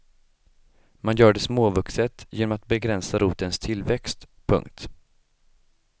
Man gör det småvuxet genom att begränsa rotens tillväxt. punkt